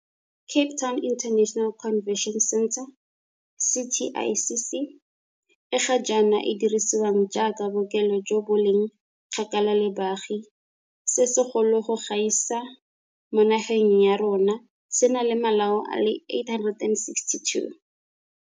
Cape Town International Convention Centre, CTICC, e ga jaana e dirisiwang jaaka bookelo jo bo leng kgakala le baagi se segolo go gaisa mo nageng ya rona se na le malao a le 862.